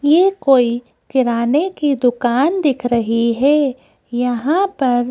ये कोई किराने की दुकान दिख रही है यहां पर।